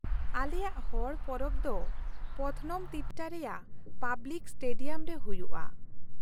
ᱟᱞᱮᱭᱟᱜ ᱦᱚᱲ ᱯᱚᱨᱚᱵᱽ ᱫᱚ ᱯᱚᱛᱷᱱᱚᱢᱚ ᱛᱤᱴᱴᱟ ᱨᱮᱭᱟᱜ ᱯᱟᱵᱞᱤᱠ ᱥᱴᱮᱰᱤᱭᱟᱢ ᱨᱮ ᱦᱩᱭᱩᱜᱼᱟ ᱾